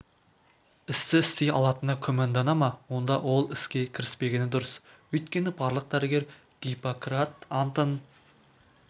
істі істей алатына күмәндана ма онда ол іске кіріспегені дұрыс өйткені барлық дәрігер гиппократ антын